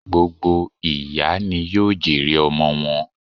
Gbogbo ìyá ni yóò jèrè ọmọ wọn